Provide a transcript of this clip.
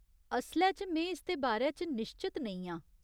असलै च में इसदे बारे च निश्चत नेईं आं।